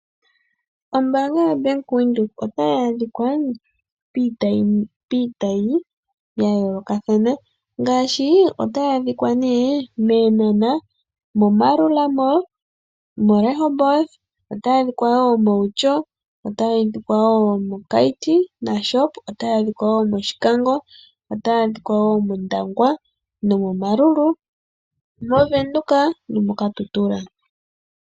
Ombaanga yaBank Windhoek otayi adhika piitayi ya yoolokathana ngaashi Eenhana, Maerua Mall, Rehoboth, Outjo, Keetmashoop, Oshikango, Ondangwa, Omarurun Windhoek, Kudu nomoKatutura.